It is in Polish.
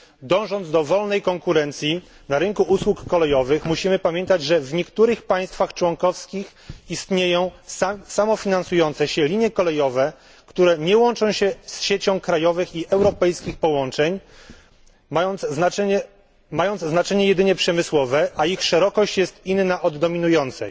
Dążąc do wolnej konkurencji na rynku usług kolejowych, musimy pamiętać, że w niektórych państwach członkowskich istnieją samofinansujące się linie kolejowe, które nie łączą się z siecią krajowych i europejskich połączeń, mając znaczenie jedynie przemysłowe, a ich szerokość jest inna od dominującej.